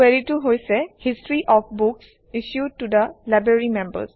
কুৱেৰিটো হৈছে history of books issued to the library members